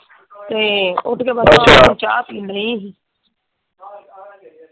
ਤੇ ਉੱਠ ਬੱਸ ਚਾਅ ਪੀਣ ਡਈ ਹੀਂ।